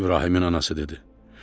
İbrahimin anası dedi: